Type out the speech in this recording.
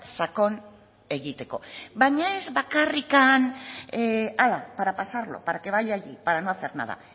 sakon egiteko baina ez bakarrik ala para pasarlo para que vaya allí para no hacer nada